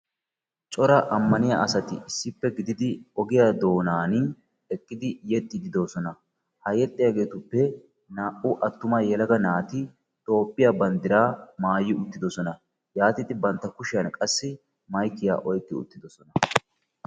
Cora ammaniyaa asati issippe gididi ogiyaa doonani eqqidi yexxidi de'oosona. ha yexxiyagetuppe naa"u attuma yelaga naati toophphiyaa banddiraa maayi uttidosona. yaatidi bantta kushiyaan qassi maykiyaa oyqqi uttidosona.